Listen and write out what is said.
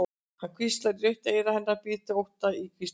Hann hvíslar í rautt eyra hennar, býr til ótta í hvíslið.